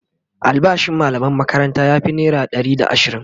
albashin mallaman makaranta ya Fi naira Ɗari da ashirin